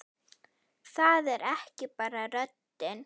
Það er ekki bara röddin.